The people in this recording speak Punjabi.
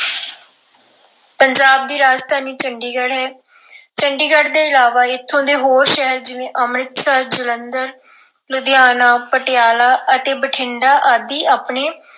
ਪੰਜਾਬ ਦੀ ਰਾਜਧਾਨੀ ਚੰਡੀਗੜ੍ਹ ਹੈ। ਚੰਡੀਗੜ ਤੋਂ ਇਲਾਵਾ ਇੱਥੋਂ ਦੇ ਹੋਰ ਸ਼ਹਿਰ ਜਿਵੇਂ ਅੰਮ੍ਰਿਤਸਰ, ਜਲੰਧਰ, ਲੁਧਿਆਣਾ, ਪਟਿਆਲਾ ਅਤੇ ਬਠਿੰਡਾ ਆਦਿ ਆਪਣੇ